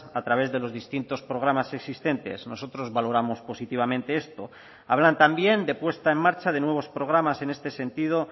a través de los distintos programas existentes nosotros valoramos positivamente esto hablan también de puesta en marcha de nuevos programas en este sentido